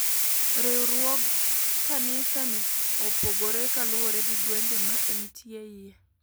Riwruog kanisa ni opogore kaluure gi gwenge ma entie iye.